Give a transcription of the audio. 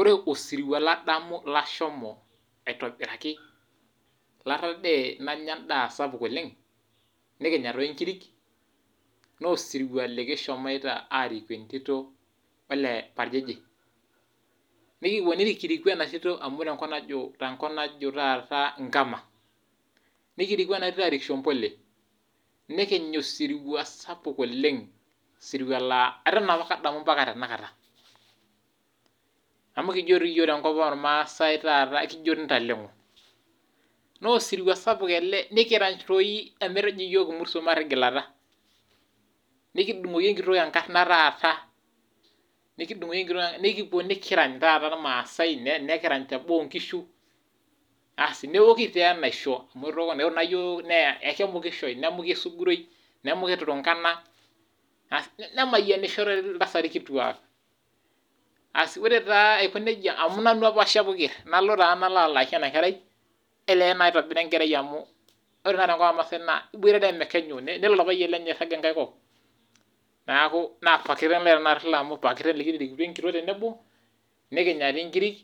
Ore osirua ladamu lashomo iatobiraki ,latadee nanya endaa sapuk oleng nikinya doi inkirik naa osiruwa likishomoita ariku entito ole parjeje .nikipuo nikiriku ena tito amu tenkop taata najo nkama nikiriku ena tito aarik shombole, nikinya osirua sapuk oleng osirua laa eton apake adamu otenakata, amu kijo yiok tenkopang oramasai intalengo ,naa osirua sapuk ele nikirany doi ometejo yiok imurto matigilata, nikidungoki enkitok enkarna taata nikipuo nikirany taata irmaasai nikirany teboo oonkishu, asi nejoki tee naisha amu ore yiok naa ekimukisho nemuki esuguroi nemuki turunkena asi nemayianishoiltasati kituak asi ore taa Aiko nejia amu nanu apa oshepu keer, nalo taa nalo alaki ena kerai ole naitobiraa enkerai amu ore naa tenkopang ormaasai naa iboitare omekenyu nelo orpayian lenye airag enkae kop, neeku pakiteng lai tenkata ilo amu pakiteng likitirikutuo enkitok tenebo nikinya dii inkirik